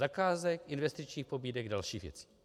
Zakázek, investičních pobídek, dalších věcí.